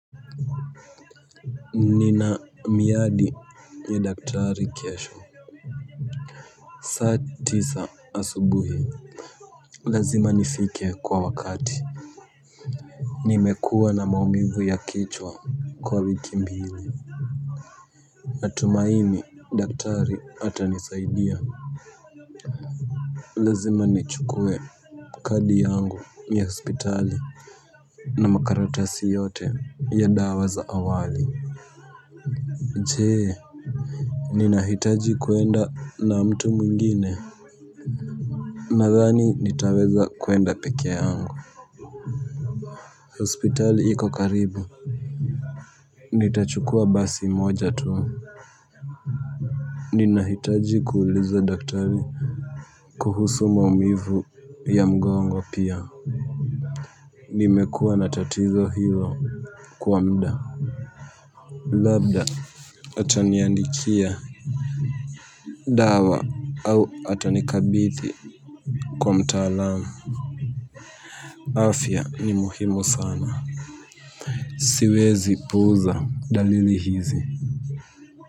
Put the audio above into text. Nina miadi ya daktari kesho, saa tisa asubuhi. Lazima nifike kwa wakati. Nimekuwa na maumivu ya kichwa kwa wiki mbili. Natumaini daktari atanisaidia. Lazima nichukue kadi yangu ya hospitali. Na makaratasi yote ya dawa za awali. Je, ninahitaji kuenda na mtu mwingine? Nadhani nitaweza kwenda peke yangu. Hospitali iko karibu. Nitachukua basi moja tu. Ninahitaji kuuliza daktari kuhusu maumivu ya mgongo pia. Nimekua na tatizo hilo kwa muda. Labda ataniandikia dawa au atanikabithi kwa mtaalamu. Afya ni muhimu sana. Siwezi puuza dalili hizi.